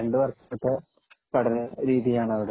രണ്ടു വര്‍ഷത്തെ പഠനരീതിയാണ് അവിടെ.